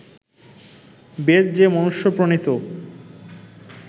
বেদ যে মনুষ্য-প্রণীত